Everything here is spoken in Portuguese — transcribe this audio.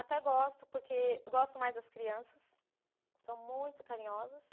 Até gosto, porque gosto mais das crianças, são muito carinhosas.